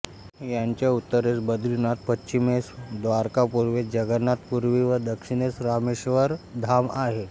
याच्या उत्तरेस बद्रीनाथ पश्चिमेस द्वारका पूर्वेस जगन्नाथ पुरी व दक्षिणेस रामेश्वरम् धाम आहे